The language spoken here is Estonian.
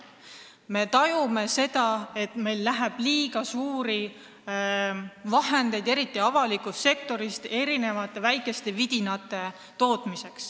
Me tajume, et meil kulub liiga suuri summasid, eriti avalikus sektoris, erinevate väikeste vidinate peale.